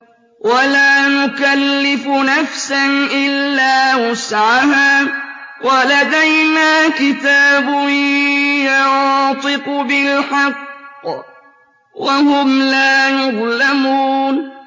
وَلَا نُكَلِّفُ نَفْسًا إِلَّا وُسْعَهَا ۖ وَلَدَيْنَا كِتَابٌ يَنطِقُ بِالْحَقِّ ۚ وَهُمْ لَا يُظْلَمُونَ